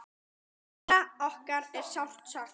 Lalla okkar er sárt saknað.